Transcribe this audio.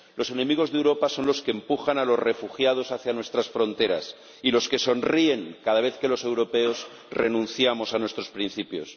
Los enemigos de Europa son los que empujan a los refugiados hacia nuestras fronteras y los que sonríen cada vez que los europeos renunciamos a nuestros principios.